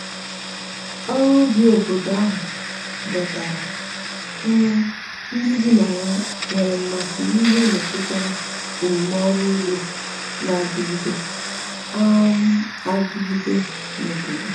ọrụ ubi obodo ahụ dọtara um ndi bi na ya nwere mmasi n'ihe metụtara omume ọrụ ụgbo n'adigide um adigide n'obodo